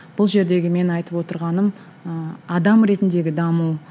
бұл жердегі менің айтып отырғаным ыыы адам ретіндегі даму